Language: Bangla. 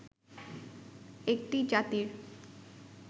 একটি জাতির